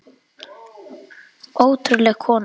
Ótrúleg kona.